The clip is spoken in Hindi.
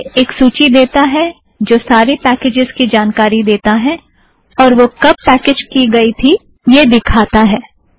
यह एक सूची देता है जो सारे पैकेज़ की जानकारी देता है और वो कब पैकेज़ की गई थी यह दिखाता है